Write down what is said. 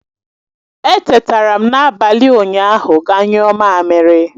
Etetara m n'abalị ụnyaahụ ga nyuo mamiri